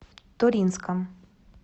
туринском